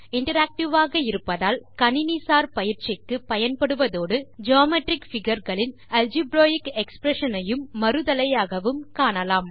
interactive ஆக இருப்பதால் கணினி சார் பயிற்சிக்குப் பயன்படுவதோடு ஜியோமெட்ரிக் பிகர் களின் ஆல்ஜிபிரேக் எக்ஸ்பிரஷன்ஸ் ஐயும் மறுதலையாகவும் காணலாம்